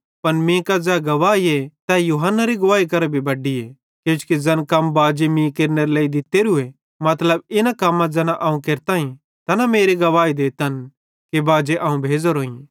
पन मीं कां ज़ै गवाहीए तै यूहन्नारी गवाही करां भी बड्डीए किजोकि ज़ैन कम बाजे मीं केरनेरे लेइ दित्तेरू मतलब इन्ने कम्मां ज़ैना अवं केरताईं तैना मेरी गवाही देतन कि बाजे अवं भेज़ोरोईं